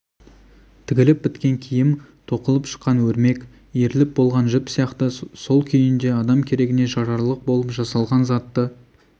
тігіліп біткен киім тоқылып шыққан өрмек иіріліп болған жіп сияқты сол күйінде адам керегіне жарарлық болып жасалған затты